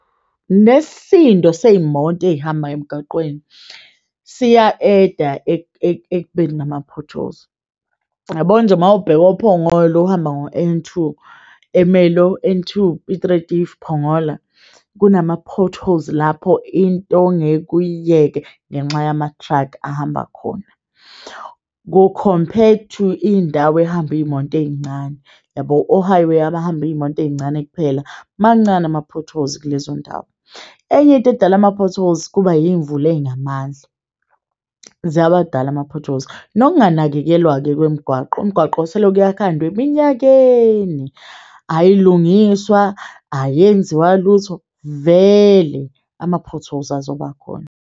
Nesisindo seyimoto eyihambayo emgaqweni, siya-add-a ekubeni nama-potholes yabo nje mawubheka oPhongolo uhamba ngo-N two, Emerlo N two, Piet Retief Phongola kunama-potholes. Lapho into ongeke uyiyeke ngenxa yama-truck ahamba khona ku-compared to indawo ehamba iyimoto eyincane yabo. O-highway abahamba iyimoto eyincane kuphela mancane ama potholes kulezo ndawo. Enye into edala ama-potholes kuba iyimvula eyinamandla ziyawadala, ama-potholes nokunganakekelwa-ke kwemigwaqo. Umgwaqo selokhu yakhandwa eminyakeni ayilungiswa ayenziwa lutho, vele ama-potholes azobakhona.